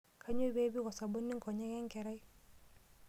Kanyoo pee ipik osabuni nkonyek enkerai?